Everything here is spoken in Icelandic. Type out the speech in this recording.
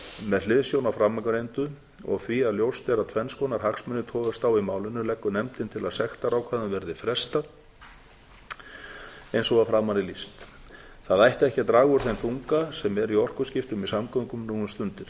með hliðsjón af framangreindu og því að ljóst er að tvenns konar hagsmunir togast á í málinu leggur nefndin til að sektarákvæðum verði frestað eins og að framan er lýst það ætti ekki að draga úr þeim þunga sem er í orkuskiptum í samgöngum nú um stundir